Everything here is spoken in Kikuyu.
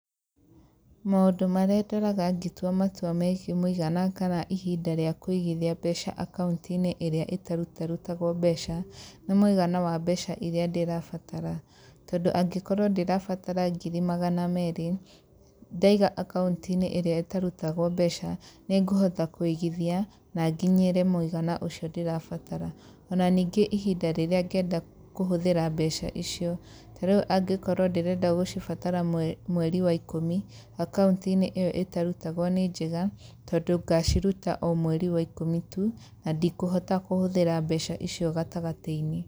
Maũndũ marĩa ndoraga ngĩtua matua megiĩ mũigana kana ihinda rĩa kũigithia mbeca akaũntinĩ ĩrĩa ĩtarutarutagwa mbeca nĩ mũigana wa mbeca irĩa ndĩrabatara tondũ angĩkorwo ndĩrabatara ngiri magana meerĩ ndaiga akaũntinĩ ĩrĩa itarutagwo mbeca nĩngũhota kũigithia na nginyĩre mũigana ucio ndĩrabatara, ona ningiĩ ihinda rĩrĩa ngenda kũhũthĩra mbeca icio ta rĩũ angĩkorwo ndĩrenda gũcibatara mweri wa ikũmi akaũntinĩ ĩyo ĩtarutagwo nĩ njega tondũ ngaciruta omweri wa ikũmi tu, na ndĩkũhota kũhũthĩra mbeca icio gatagatainĩ.